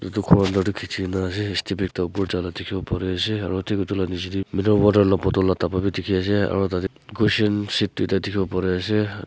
etu ghor under de kichi kina ase step ekta upor jala dikibo pari ase aro thik etu la niji dae mineral water la bottle la thapa b diki ase aro tate cushion seat tuita dikibo pari ase.